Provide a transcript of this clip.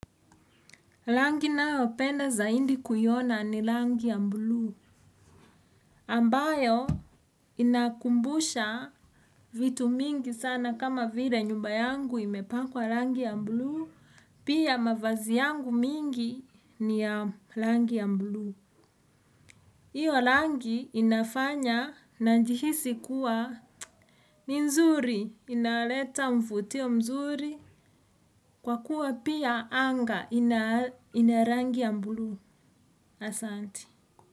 Langi naopenda zaindi kuiona ni langi ya mbulu. Ambayo inakumbusha vitu mingi sana kama vile nyumba yangu imepakwa langi ya mbulu. Pia mavazi yangu mingi ni ya langi ya mbulu. Iyo langi inafanya najihisi kuwa nzuri. Inaleta mfutio mzuri kwa kuwa pia anga ina langi ya mbulu asanti.